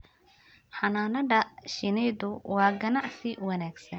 Xannaanada shinnidu waa ganacsi wanaagsan.